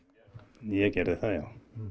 ég gerði það já